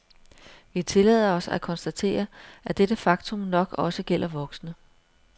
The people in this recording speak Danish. Vi tillader os at konstatere, at dette faktum nok også gælder voksne.